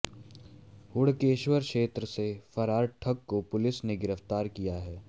हुड़केश्वर क्षेत्र से फरार ठग को पुलिस ने गिरफ्तार किया है